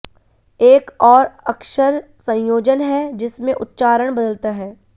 एक और अक्षर संयोजन है जिसमें उच्चारण बदलता है